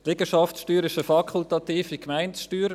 Die Liegenschaftssteuer ist eine fakultative Gemeindesteuer.